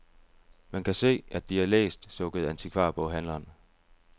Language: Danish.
Man kan se, at de er læst, sukkede antikvarboghandleren.